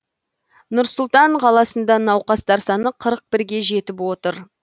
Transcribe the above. нұр сұлтан қаласында науқастар саны қырық бірге жетіп отыр